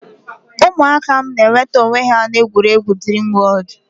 Ụmụaka m na-enweta onwe ha n'ebe egwuregwu Dreamworld.